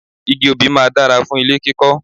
Igi obì máa dára fún ilé kíkọ́